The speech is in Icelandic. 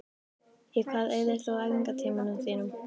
Í hvað eyðir þú æfingartímanum þínum?